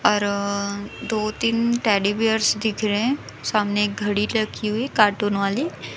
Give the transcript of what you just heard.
और दो तीन टेडी बीयर्स दिख रहे सामने घड़ी लगी हुई कार्टून वाली--